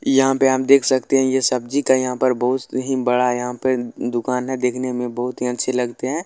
यहाँ पे आप देख सकते है ये सब्जी का यहाँ पर बहुत ही बड़ा यहाँ पे दुकान है देखने में बहुत ही अच्छे लगते हैं।